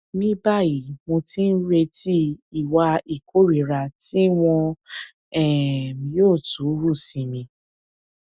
ní báyìí mo ti ń retí ìwà ìkórìíra tí wọn um yóò tún hù sí mi